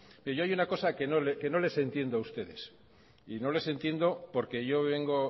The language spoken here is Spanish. pero yo hay una cosa que no les entiendo a ustedes y no les entiendo porque yo vengo